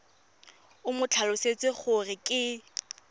o mo tlhalosetse gore ke